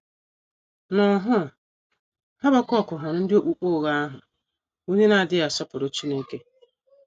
N’ọhụụ, Habakuk hụrụ ndị okpukpe ụgha ahụ, bụ́ ndị na - adịghị asọpụrụ Chineke.